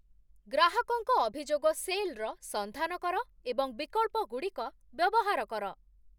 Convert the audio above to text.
ଗ୍ରାହକଙ୍କ ଅଭିଯୋଗ ସେଲ୍‌ର ସନ୍ଧାନ କର ଏବଂ ବିକଳ୍ପଗୁଡିକ ବ୍ୟବହାର କର